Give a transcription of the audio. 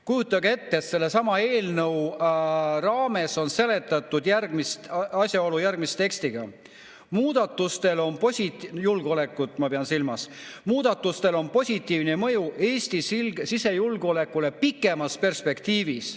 Kujutage ette, sellesama eelnõu raames on seletatud järgmist asjaolu – ma pean silmas julgeolekut – järgmise tekstiga: "Muudatusel on positiivne mõju Eesti sisejulgeolekule pikemas perspektiivis.